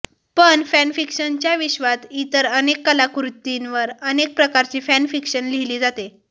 पण फॅनफिक्शनच्या विश्वात इतर अनेक कलाकृतींवर अनेक प्रकारची फॅनफिक्शन लिहिली जाते